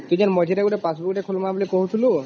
ତକ ମଝିରେ ଗୋଟେ passbook ଟେ ଖୋଲିବା ବୋଲି କହୁଥିଲୁ